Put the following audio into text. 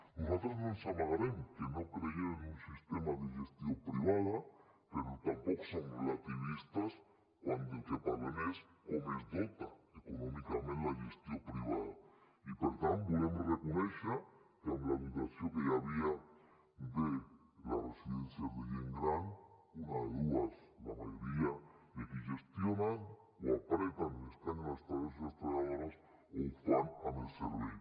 nosaltres no ens amagarem que no creiem en un sistema de gestió privada però tampoc som relativistes quan del que parlem és de com es dota econòmicament la gestió privada i per tant volem reconèixer que amb la dotació que hi havia de les residències de gent gran una de dues la majoria dels qui gestionen o apreten escanyen els treballadors i les treballadores o ho fan amb el servei